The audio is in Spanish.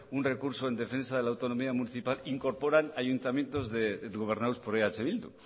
un recurso en defensa de la autonomía municipal incorporan ayuntamientos gobernados por eh bildu